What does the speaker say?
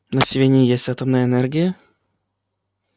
на сивенне есть атомная энергия